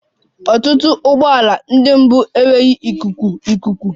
Ọtụtụ ụgbọ ala ndị mbụ enweghị ikuku ikuku